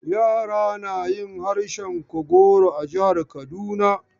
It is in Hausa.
Yara na yin harshen Kagoro a jihar Kaduna.